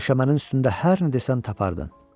Döşəmənin üstündə hər nə desən tapardın.